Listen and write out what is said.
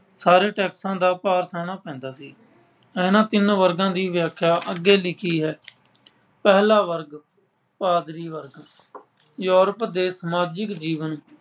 ਸਾਰੇ taxes ਦਾ ਭਾਰ ਸਹਿਣਾ ਪੈਂਦਾ ਸੀ। ਇਹਨਾਂ ਤਿੰਨ ਵਰਗਾਂ ਦੀ ਵਿਆਖਿਆ ਅੱਗੇ ਲਿਖੀ ਹੈ। ਪਹਿਲਾ ਵਰਗ ਪਾਦਰੀ ਵਰਗ ਯੂਰੋਪ ਦੇ ਸਮਾਜਿਕ ਜੀਵਨ